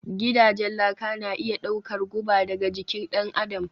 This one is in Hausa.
Gidajen laka na iya ɗaukar guba daga jikin ɗan adam